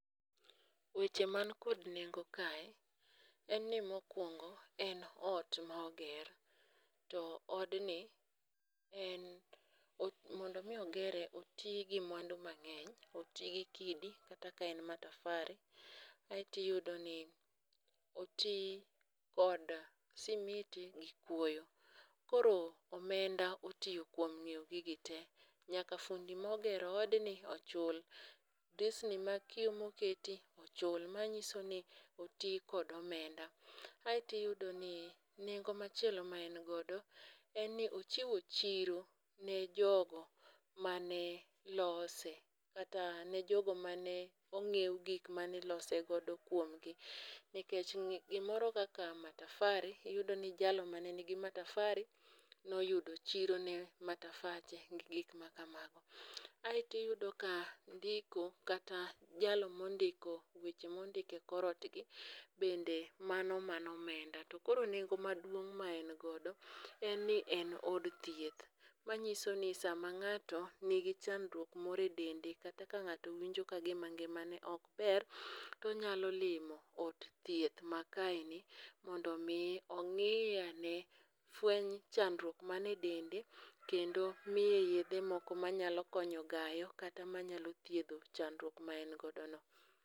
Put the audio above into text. Weche man kod nengo kae en ni mokuongo en ot ma oger. To odni en mondo mi ogere oti gi mwandu mang'eny. Oti gi kidi kata ka en matafari. Aeto iyudo ni oti kod simiti gi kuoyo. Koro omenda otiyo kuom ng'iew gigi te. Nyaka fundi mogero odni ochul. Drisni mag kiyo moketi ochul manyiso ni oti kod omenda. Aeto iyudo ni nengo machielo ma en godo en ni ochiwo chiro ne jogo mane lose. Kata ne jogo mane ongiew gik mane ilose godo kuom gi nikech gimoro kaka matafari iyudo ni jalno mane nigi matafari noyudo chiro ne matafache gi gik makamago. Aeto iyudo ka ndiko kata jalno mondiko weche mondike korot gi bende mano mana omenda. To koro nengo maduong ma engodo en ni en od thieth. Manyiso ni sama ng'ato nigi chandruok moro e dende kata ka ng'ato winjo ka ngima ne ok ber tonyalo limo od thieth ma kaeni mondo mi ongi ane fwech chandruok mani e dende kendo miye yethe moko manyalo konyo gayo kata manyalo thidho chandruok ma en godo no.